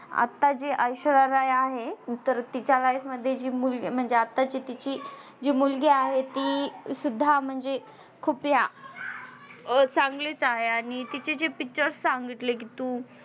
आता जी ऐश्वर्या राय आहे तर तिच्या life मध्ये जी मुलगी म्हणजे आताची तिची जी मुलगी आहे ती सुद्धा म्हणजे खूपया चांगलीच आहे आणि तिची जे Picture सांगितले कि तू